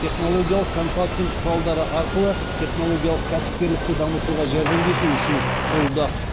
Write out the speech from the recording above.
технологиялық консалтинг құралдары арқылы технологиялық кәсіпкерлікті дамытуға жәрдемдесу үшін құрылды